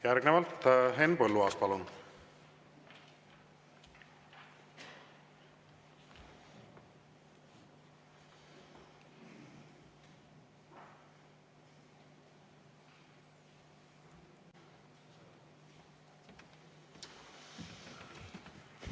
Järgnevalt Henn Põlluaas, palun!